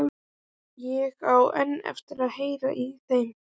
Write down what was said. Ég á enn eftir að heyra í þeim.